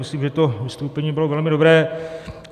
Myslím, že to vystoupení bylo velmi dobré.